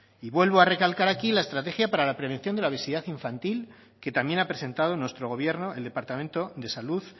y vuelvo a recalcar aquí la estrategia para la prevención de la obesidad infantil que también ha presentado nuestro gobierno el departamento de salud